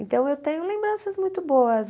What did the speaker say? Então, eu tenho lembranças muito boas.